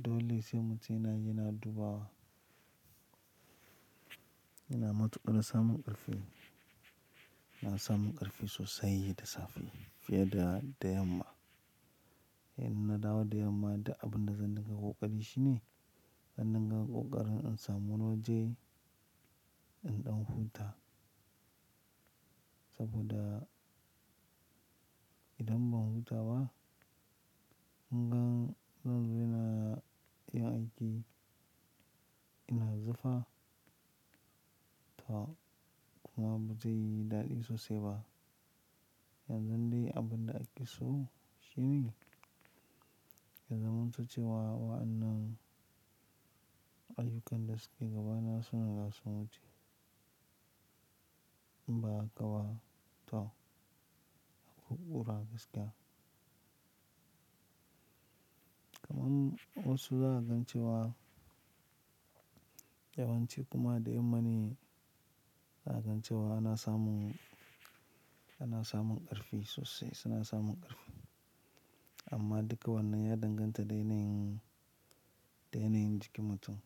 Dole sai mutum yanayi, yana dubawa, ina matuƙar da samun ƙarfi. Ina samun ƙarfi sosai da safe fiye da, da yamma. Inna dawo da yamma da abin da zan daka ƙoƙari shi ne, an danga ƙoƙarin in samu na je in ɗan huta. Saboda idan ban huta ba, mun gan zan daina yin aiki ina zafa. To kuma ba zai yi daɗi sosai ba. Yanzu dai abin da ake so shi ne, ya zamantocewa wa'annan ayyukan da suke gaba na suna nan sun wuce in ba haka ba. To, a haƙura gaskiya. Kaman wasu za ka gance wa, yawanci kuma da yammani za a gance wa ana samun, ana samun ƙarfi sosai suna samun ƙarfi. Amma duka wannan ya danganta da yanayin, da yanayin jikin mutum.